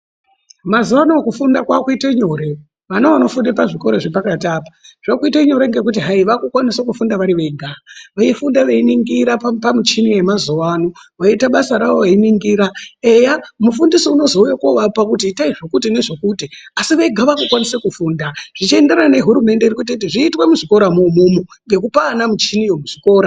Mazuwa ano kufunda kwaakuite nyore. Vana vanofunde pazvikora zvepakati apo, zvaakuite nyore ngekuti hayi vaakukwanise kufunda vari vega. Veifunda veiningira pamichini yemazuwaano veiita basa ravo veiningira. Eya mufundisi unozouya kovapa kuti itai zvekuti nezvekuti asi vega vaakutokwanise kufunda, zvichienderana nehurumende iri kuite kuti zviitwe muchikoramwo umwomwo, ngekupe ana michiniyo muzvikora.